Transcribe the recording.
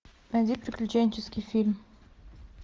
найди приключенческий фильм